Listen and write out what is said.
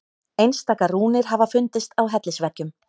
Einstaka rúnir hafa fundist á hellisveggjum.